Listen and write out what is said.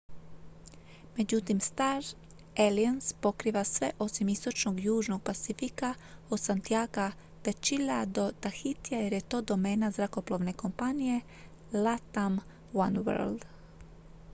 međutim star alliance pokriva sve osim istočnog južnog pacifika od santiaga de chile do tahitija jer je to domena zrakoplovne kompanije latam oneworld